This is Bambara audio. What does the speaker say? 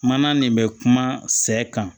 Mana nin bɛ kuma sɛ kan